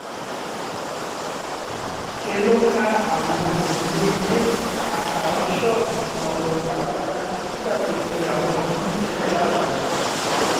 ṣe ló ká àwọn òrùlé ilé àtàwọn ṣọ́ọ̀bù kan lọ pátápátá nígbà tó fi àwọn mí-ín sílẹ̀ láàbò